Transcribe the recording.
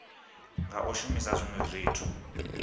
nga u shumisa zwinwe zwithu